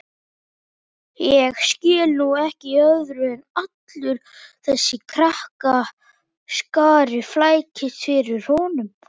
Ég skil nú ekki í öðru en allur þessi krakkaskari flækist bara fyrir honum